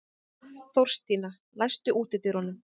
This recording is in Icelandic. Þórstína, læstu útidyrunum.